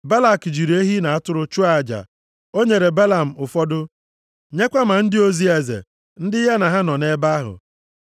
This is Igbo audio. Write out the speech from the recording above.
Balak jiri ehi na atụrụ chụọ aja. O nyere Belam ụfọdụ, nyekwa ma ndị ozi eze ndị ya na ha nọ nʼebe ahụ.